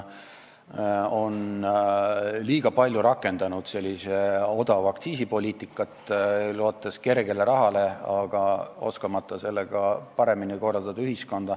Läti on liiga palju rakendanud odava aktsiisi poliitikat, lootes kergelt saadud rahale, oskamata sellega ühiskonda paremini korraldada.